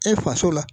E faso la